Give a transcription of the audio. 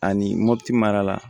Ani mɔpiti mara la